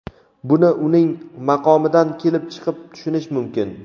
buni uning maqomidan kelib chiqib tushunish mumkin.